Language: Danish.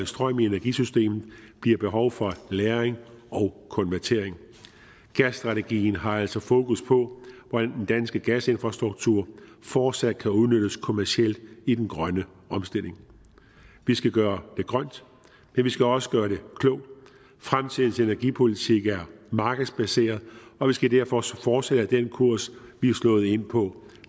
strøm i energisystemet bliver behov for lagring og konvertering gasstrategien har altså fokus på hvordan den danske gasinfrastruktur fortsat kan udnyttes kommercielt i den grønne omstilling vi skal gøre det grønt men vi skal også gøre det klogt fremtidens energipolitik er markedsbaseret og vi skal derfor også fortsætte på den kurs vi er slået ind på